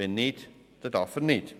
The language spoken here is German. wenn nicht, dann nicht.